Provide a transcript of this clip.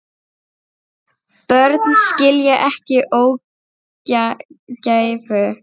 Börn skilja ekki ógæfu.